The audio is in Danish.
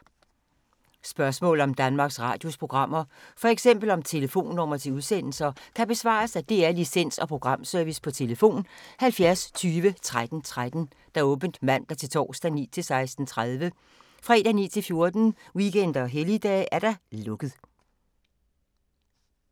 Spørgsmål om Danmarks Radios programmer, f.eks. om telefonnumre til udsendelser, kan besvares af DR Licens- og Programservice: tlf. 70 20 13 13, åbent mandag-torsdag 9.00-16.30, fredag 9.00-14.00, weekender og helligdage: lukket.